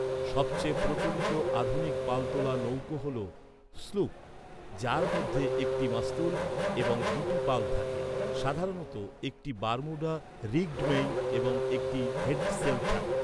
সবচেয়ে প্রচলিত আধুনিক পালতোলা নৌকা হল স্লুপ, যার মধ্যে একটি মাস্তুল এবং দুটি পাল থাকে, সাধারণত একটি বারমুডা রিগ্ড মেইন এবং একটি হেডসেল থাকে।